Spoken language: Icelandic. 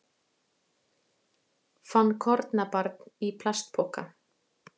Fann kornabarn í plastpoka